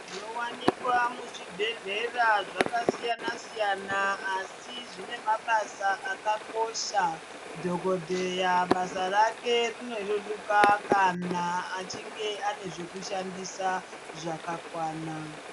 Zvinowanikwa muzvibhedhlera zvakasiyana siyana asi zvine mabasa akakosha dhokodheya basa rake rino reruka kana achinge ane zvekushandisa zvakakwana.